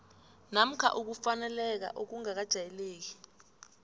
namkha ukufaneleka okungakajayeleki